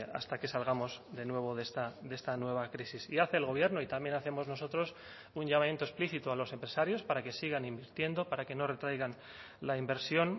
hasta que salgamos de nuevo de esta nueva crisis sí hace el gobierno y también hacemos nosotros un llamamiento explícito a los empresarios para que sigan invirtiendo para que no retraigan la inversión